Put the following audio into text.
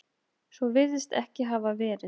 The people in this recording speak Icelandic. Svo virðist ekki hafa verið